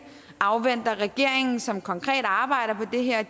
afventer at regeringen som konkret arbejder på det her